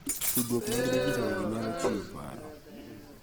Tudruok mag dijitol gi nyalo chiwo paro